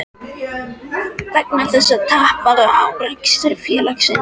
vegna þess að tap varð á rekstri félagsins.